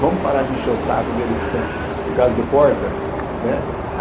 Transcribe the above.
Vamos parar de lixar o saco dele por causa do porta, né?